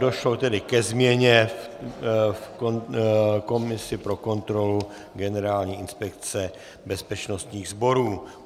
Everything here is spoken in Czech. Došlo tedy ke změně v komisi pro kontrolu Generální inspekce bezpečnostních sborů.